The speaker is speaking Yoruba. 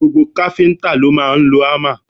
Gbogbo káfíńtà ni ó máa ń lo hámà